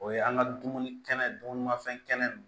O ye an ka dumuni kɛnɛ dumunimanfɛn kɛnɛ nunnu